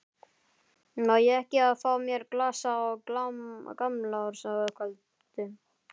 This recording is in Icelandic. Má ég ekki fá mér glas á gamlárskvöldi?